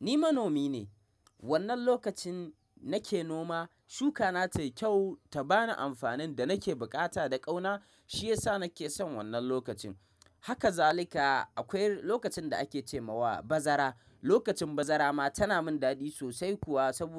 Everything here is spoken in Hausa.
Ni manomi ne. Wannan lokacin nake noma, shuka na tayi kyau ta bani amfanin da nake bukata da ƙauna. Shi yasa nake son wannan lokacin. Haka zalika akwai lokacin da ake ce wa bazara. Lokacin bazara ma tana min dadi sosai kuwa sabo.